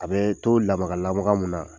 A bɛɛ to lamaga lamaga mun na